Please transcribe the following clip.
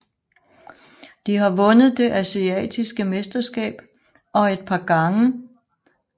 De har vundet det asiatiske mesterskab et par gange og det asiatiske cup engang